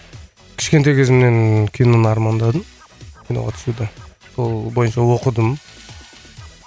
кішкентай кезімнен киноны армандадым киноға түсуді сол бойынша оқыдым